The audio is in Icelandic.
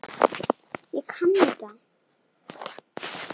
Þú sagðir það í gær.